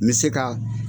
N bɛ se ka